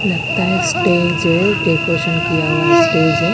लगता है स्टेज है डेकोरेशन किया हुआ स्टेज है।